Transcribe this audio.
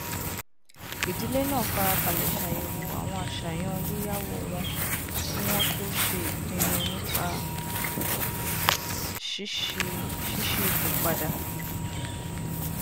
ìdílé náà farabalẹ ṣàyẹwò àwọn àṣàyàn yíyáwó wọn kí wọn tó ṣe ìpinnu nípa ṣíṣípò padà